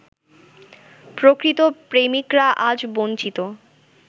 প্রকৃত প্রেমিকরা আজ বঞ্চিত।